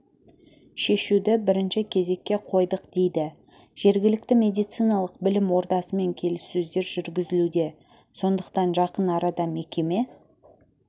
шешуді бірінші кезекке қойдық дейді жергілікті медициналық білім ордасымен келіссөздер жүргізілуде сондықтан жақын арада мекеме